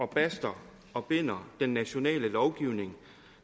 baster og binder den nationale lovgivning